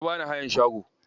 Ya bani hayan shago.